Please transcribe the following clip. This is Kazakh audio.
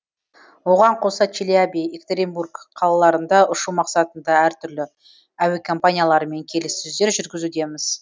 оған қоса челябі екатеринбург қалаларына ұшу мақсатында әртүрлі әуекомпанияларымен келіссөздер жүргізудеміз